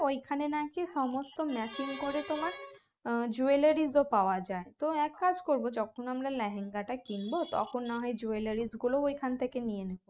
ওইখানে নাকি সমস্ত matching করে তোমার আহ jewellery ও পাওয়া যায় তো এক কাজ করবো যখন আমরা লেহেঙ্গা তা কিনব তখন না হয় jewellery গুলোও ওইখান থেকেনিয়ে নেব